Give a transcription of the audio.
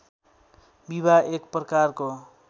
विवाह एक प्रकारको